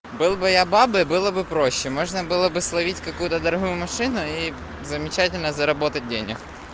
был бы я бабой было бы проще можно было бы словить какую-то другую машину и замечательно заработать денег